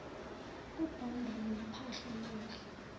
ubonda nophahla lwendlu